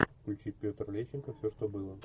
включи петр лещенко все что было